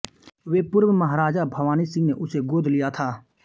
वे पूर्व महाराजा भवानी सिंह ने उसे गोद लिया था